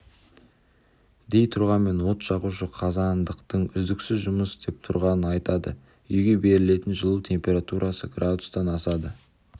дей тұрғанмен от жағушы қазандықтың үздіксіз жұмыс істеп тұрғанын айтады үйге берілетін жылу температурасы градустан асады